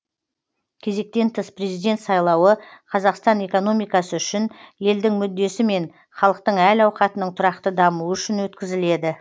кезектен тыс президент сайлауы қазақстан экономикасы үшін елдің мүддесі мен халықтың әл ауқатының тұрақты дамуы үшін өткізіледі